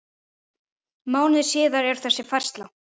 Mánuði síðar er þessi færsla